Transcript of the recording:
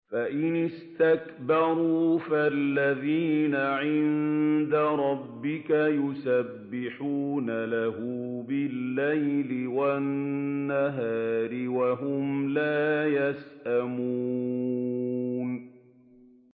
فَإِنِ اسْتَكْبَرُوا فَالَّذِينَ عِندَ رَبِّكَ يُسَبِّحُونَ لَهُ بِاللَّيْلِ وَالنَّهَارِ وَهُمْ لَا يَسْأَمُونَ ۩